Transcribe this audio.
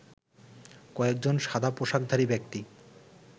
কয়েকজন সাদা পোশাকধারী ব্যক্তি